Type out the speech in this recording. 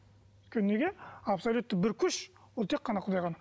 өйткені неге абсолютті бір күш ол тек қана құдай ғана